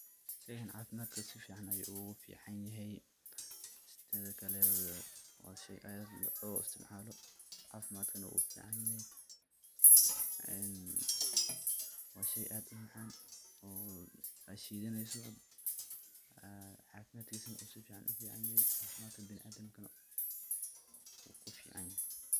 Sheygan cafimaadka si fican ayuu oogu fican yahay, teeda kale waa sheey aad loo isticmaalo, cafimaadka na wuu ufican yahay, ee waa sheey aad umacaan oo aad shidaneyso, cafimaadkiisa na uu sifican ufican yahay, marka biniadamka neh wuu ufican yahay.